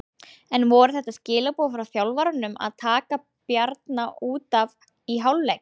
En voru þetta skilaboð frá þjálfaranum að taka Bjarna útaf í hálfleik?